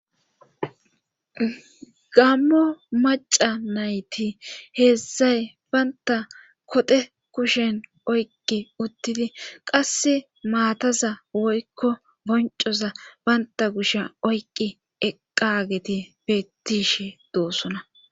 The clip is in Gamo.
Gammo macca nayti heedzdzay baynta koxe kushen oyqqi uttidi qasse maataza woykko boncoza baynta kushsha oyqqi eqqageti bettishshi doosona